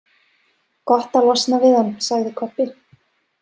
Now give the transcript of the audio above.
Gott að losna við hann, sagði Kobbi.